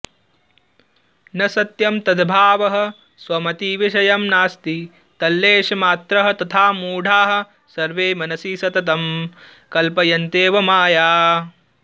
न सत्यं तद्भावः स्वमतिविषयं नास्ति तल्लेशमात्रः तथा मूढाः सर्वे मनसि सततं कल्पयन्त्येव माया